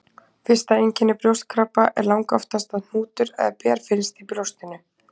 Fyrsta einkenni brjóstkrabba er langoftast að hnútur eða ber finnst í brjóstinu.